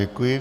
Děkuji.